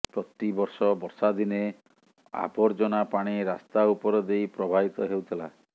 ପ୍ରତିବର୍ଷ ବର୍ଷାଦିନେ ଆବର୍ଜନା ପାଣି ରାସ୍ତା ଉପର ଦେଇ ପ୍ରଭାବିତ ହେଉଥିଲା